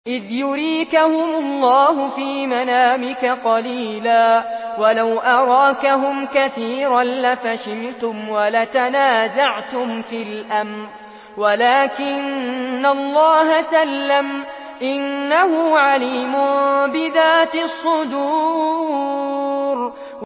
إِذْ يُرِيكَهُمُ اللَّهُ فِي مَنَامِكَ قَلِيلًا ۖ وَلَوْ أَرَاكَهُمْ كَثِيرًا لَّفَشِلْتُمْ وَلَتَنَازَعْتُمْ فِي الْأَمْرِ وَلَٰكِنَّ اللَّهَ سَلَّمَ ۗ إِنَّهُ عَلِيمٌ بِذَاتِ الصُّدُورِ